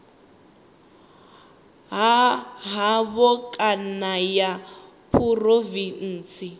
ha havho kana ya phurovintsi